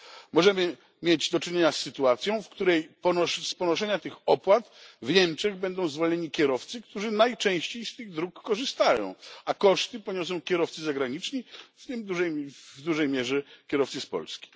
Możemy mieć do czynienia z sytuacją, w której z ponoszenia tych opłat w Niemczech będą zwolnieni kierowcy, którzy najczęściej z tych dróg korzystają, a koszty poniosą kierowcy zagraniczni, w tym w dużej mierze kierowcy z Polski.